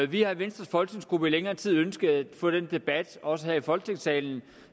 vi har i venstres folketingsgruppe i længere tid ønsket at få den debat også i folketingssalen